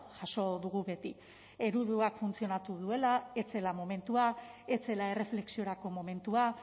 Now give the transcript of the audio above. jaso dugu beti ereduak funtzionatu duela ez zela momentua ez zela erreflexiorako momentua